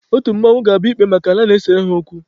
Otu mmanwụ ga-abịa ikpe maka ala na-esere ha okwu.